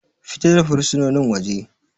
Fita da fursunonin waje.